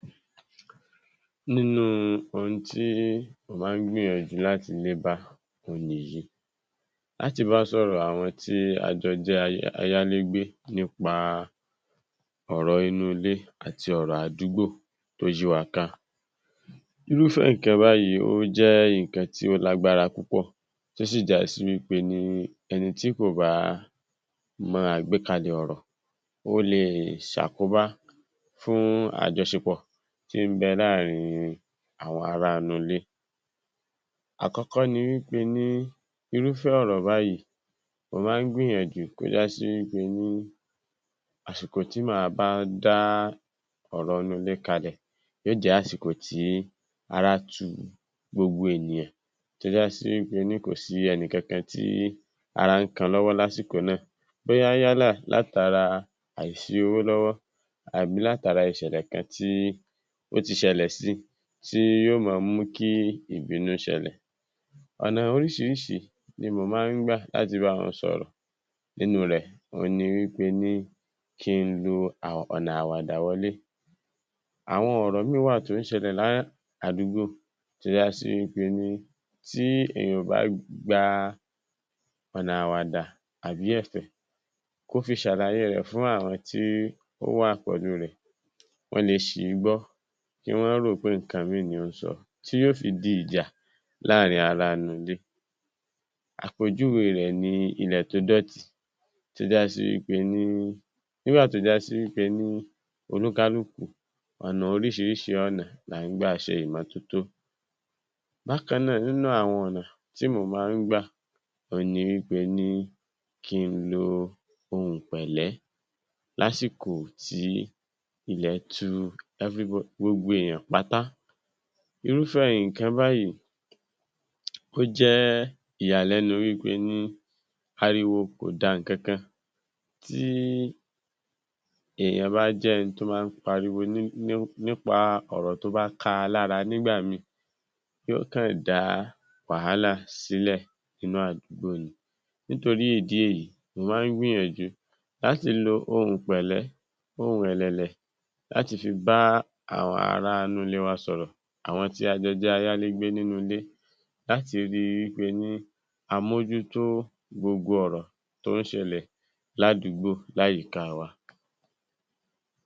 Nínú ohun tí mo máa ń gbìyànjú láti lé bá òhun nìyí, láti bá sọ̀rọ̀ àwọn tí a jọ jẹ́ ayálégbé nípa inú ilé àti ọ̀rọ̀ àdúgbò tó yí wa ká. Irúfẹ́ nǹkan báyìí ó jẹ́ nǹkan tó lágbára púpọ̀, tó sì já sí wí pé ní ẹni tí kò bá mọ àgbékalẹ̀ ọ̀rọ̀ ó lè ṣe àkóbá fún àjọṣepọ̀ tí ń bẹ láàárín àwọn ará inú ilé. Àkọ́kọ́ ni ni pé ni irúfẹ́ ọ̀rọ̀ báyìí mo máa ń gbìyànjú àsìkò tí màá bá dá ọ̀rọ̀ inú ilé kalẹ̀ yóò jẹ́ àsìkò tí ara tu gbogbo ènìyàn tó já sí wí pe ni kò sí ẹnì kankan tí ara ń kan lásìkò náà bóyá yálà látara àìsí owó lọ́wọ́ tàbí ìṣẹ̀lẹ̀ kan tó ti ṣẹlẹ̀ si tí yóò máa mú kí ìbínú ṣẹlẹ̀, ọ̀nà oríṣiríṣi ni mò máa ń gbà láti bá wọn sọ̀rọ̀ nínú rẹ̀ ni ní pé ni kí ń lo ọ̀nà àwàdà wọlé àwọn ọ̀rọ̀ mìíràn wá à tó ṣẹlẹ̀ ní àdúgbò tó jásí ní pé ni tí èèyàn ò bá gba ọ̀nà àwàdà tàbí ẹ̀fẹ̀ kó fi ṣàlàyé rẹ̀ pẹ̀lú àwọn tó wà pẹ̀lú rẹ̀, wọ́n le ṣì í gbọ́, wọ́n lè rò wí pé ọ̀rọ̀ mìíràn ni nǹkan tó ń sọ tí yóò fi di ìjà láàárín ará inú ilé. Àpèjúwe rẹ̀ ni ilẹ̀ tó dọ̀tí tó já sí wí pé ni oníkálukú ọ̀nà orísìírísìí ọ̀nà ná ń gbà ṣe ìmọ́tọ́tọ́. Bákan náà nínú àwọn orísìírísìí ọ̀nà tí mo máa ń gbà òhun ni ní pé ni kí ń lo ohùn pẹ̀lẹ́ lásìkò tí ilẹ̀ tu every, gbogbo èèyàn pátá. Irúfẹ́ nǹkan báyìí ó jẹ́ ìyàlẹ́nu pé ariwo kò da nǹkankan tí èèyàn bá jẹ́ ẹni tó máa ń pariwo nípa ọ̀rọ̀ tó bá ka lára nígbà míì yóò kàn dá wàhálà sílẹ̀ nínú àdúgbò ni, nítorí ìdí èyí mo máa ń gbìyànjú láti lo ohùn pẹ̀lẹ́, ohùn ẹ̀lẹ̀lẹ̀ láti fi bá àwọn ará inú ilé wa sọ̀rọ̀, àwọn tí a jọ jẹ́ ayálégbé nínú ilé láti rí ní pé ni a mójútó gbogbo ọ̀rọ̀ tó ń ṣẹlẹ̀ ládùúgbò láyìká wa.